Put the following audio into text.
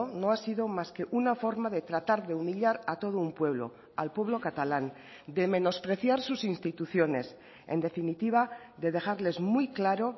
no ha sido más que una forma de tratar de humillar a todo un pueblo al pueblo catalán de menospreciar sus instituciones en definitiva de dejarles muy claro